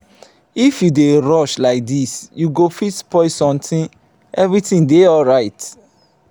if you dey rush like dis you go fit spoil something. everything dey alright.